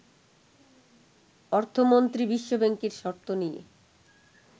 অর্থমন্ত্রী বিশ্ব ব্যাংকের শর্ত নিয়ে